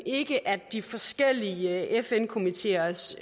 ikke at de forskellige fn komiteers